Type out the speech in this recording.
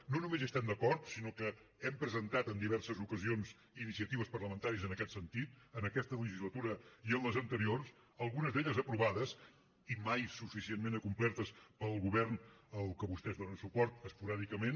no només hi estem d’acord sinó que hem presentat en diverses ocasions iniciatives parlamentàries en aquest sentit en aquesta legislatura i en les anteriors algunes d’elles aprovades i mai suficientment complertes pel govern al que vostès donen suport esporàdicament